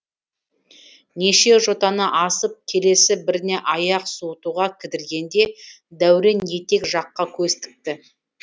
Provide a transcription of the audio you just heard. неше жотаны асып келесі біріне аяқ суытуға кідіргенде дәурен етек жаққа көз тікті